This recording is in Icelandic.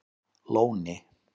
Lóni